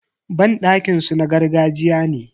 Banɗakin su na gargajiya ne.